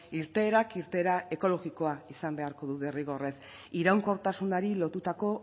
irteerak irteera ekologikoa izan beharko du derrigorrez iraunkortasunari lotutako